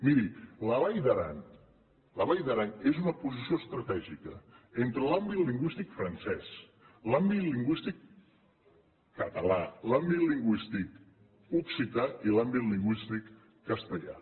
miri la vall d’aran és una posició estratègica entre l’àmbit lingüístic francès l’àmbit lingüístic català l’àmbit lingüístic occità i l’àmbit lingüístic castellà